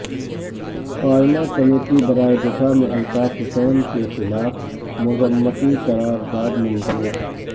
قائمہ کمیٹی برائے دفاع میں الطاف حسین کے خلاف مذمتی قرارداد منظور